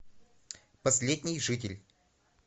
последний житель